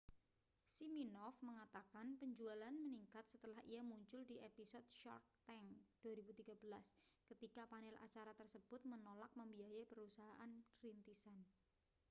siminoff mengatakan penjualan meningkat setelah ia muncul di episode shark tank 2013 ketika panel acara tersebut menolak membiayai perusahaan rintisan